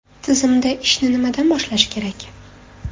Tizimda ishni nimadan boshlash kerak?